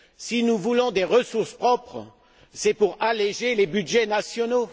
Si nous voulons des ressources propres, c'est pour alléger les budgets nationaux.